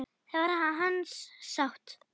Það var hans sátt!